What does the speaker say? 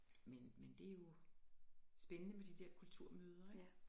Men men det jo spændende med de der kulturmøder ikke